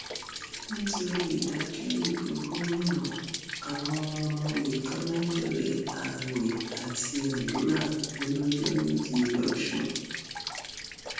nítorí ìdájọ ìbò gómìnà àwọn ọmọ ọyẹtola bẹrẹ ààwẹ àti àdúrà ọlọjọ méje lọsùn